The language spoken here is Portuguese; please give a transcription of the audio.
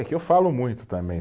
É que eu falo muito também.